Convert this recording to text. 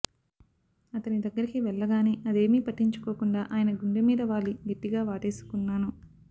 అతని దగ్గరకి వెళ్ళగానే అదేమీ పట్టించుకోకుండా ఆయన గుండె మీద వాలి గట్టిగా వాటేసుకున్నాను